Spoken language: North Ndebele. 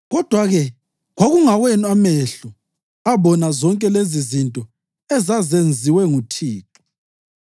Kodwa-ke kwakungawenu amehlo abona zonke lezizinto ezazenziwe nguThixo.